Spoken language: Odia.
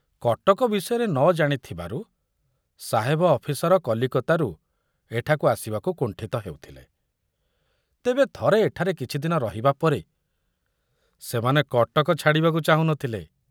କଟକ ବିଷୟରେ ନ ଜାଣିଥୁବାରୁ ସାହେବ ଅଫିସର କଲିକତାରୁ ଏଠାକୁ ଆସିବାକୁ କୁଣ୍ଠିତ ହେଉଥିଲେ, ତେବେ ଥରେ ଏଠାରେ କିଛି ଦିନ ରହିବା ପରେ ସେମାନେ କଟକ ଛାଡ଼ିବାକୁ ଚାହୁଁ ନଥିଲେ।